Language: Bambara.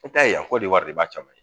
Te taa yen a kɔdiwari de b'a cama